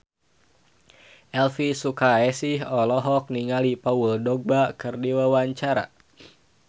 Elvy Sukaesih olohok ningali Paul Dogba keur diwawancara